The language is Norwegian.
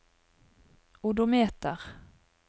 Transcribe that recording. odometer